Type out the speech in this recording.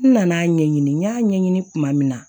N nana ɲɛɲini n y'a ɲɛɲini kuma min na